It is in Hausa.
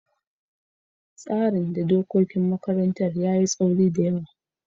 tsarin da dokokin makarantar yayi taauri da yawa.